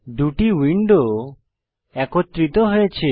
দুটি উইন্ডো একত্রিত হয়েছে